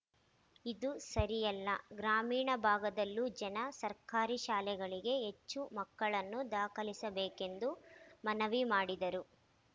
ಇದು ಸರಿಯಲ್ಲ ಗ್ರಾಮೀಣ ಭಾಗದಲ್ಲೂ ಜನ ಸರ್ಕಾರಿ ಶಾಲೆಗಳಿಗೆ ಹೆಚ್ಚು ಮಕ್ಕಳನ್ನು ದಾಖಲಿಸಬೇಕೆಂದು ಮನವಿ ಮಾಡಿದರು